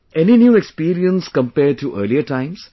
Any new experience compared to earlier times